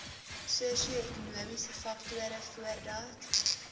sosioekonomiese faktore voordat